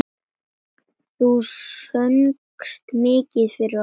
Þú söngst mikið fyrir okkur.